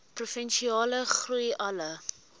provinsiale groei alle